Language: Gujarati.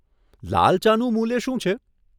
લાલ ચાનું મૂલ્ય શું છે?